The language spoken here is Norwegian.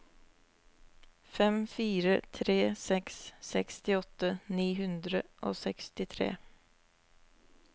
fem fire tre seks sekstiåtte ni hundre og sekstitre